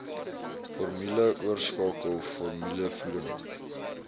formule oorskakel formulevoeding